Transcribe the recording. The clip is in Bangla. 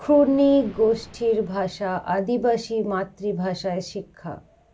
ক্ষুনৃগোষ্ঠীর ভাষা আদিবাসী মাতৃভাষায় শিক্ষা